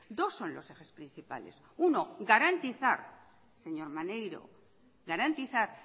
dos son los ejes principales uno garantizar señor maneiro garantizar